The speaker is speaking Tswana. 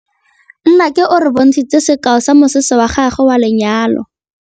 Nnake o re bontshitse sekaô sa mosese wa gagwe wa lenyalo.